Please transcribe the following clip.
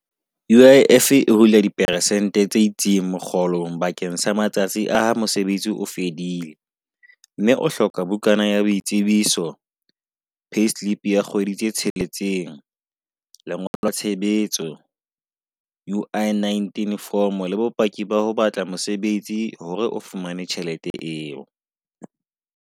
U_I_F e hula di persente tse itseng mokgolong bakeng sa matsatsi a mosebetsi o fedile mme o hloka bukana ya boitsebiso. Payslip ya kgwedi pedi tse tsheletseng, lengolo la tshebetso. U_I nineteen form le bopaki ba ho batla mosebetsi hore o fumane tjhelete eo.